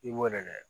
I b'o de kɛ